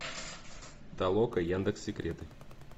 толока яндекс секреты